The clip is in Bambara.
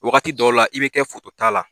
Wagati dɔw la i bɛ kɛ fotota la